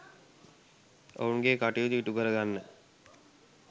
ඔවුන්ගේ කටයුතු ඉටු කරගන්න